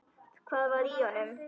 Hvað var í honum?